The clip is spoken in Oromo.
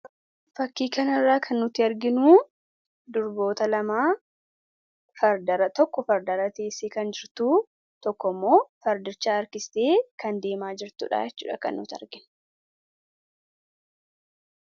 fakkii kana irraa kan nuti arginu durboota lama tokko fardarra teessee kan jirtuu, tokko immoo fardicha harkistee kan deemaa jirtuudha jechuudha kan nuti arginu.